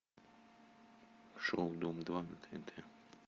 шоу дом два на тнт